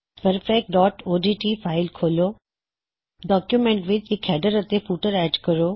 practice dot O D T practiceਓਡਟ file ਖੋਲੋ document ਵਿੱਚ ਇਕ ਹੈਡਰ ਅਤੇ ਫੁਟਰ ਐੱਡ ਕਰੋ